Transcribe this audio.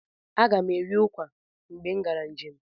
Agam eri ụkwa mgbe m gara njem.